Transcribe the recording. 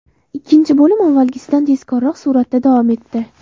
Ikkinchi bo‘lim avvalgisidan tezkorroq suratda davom etdi.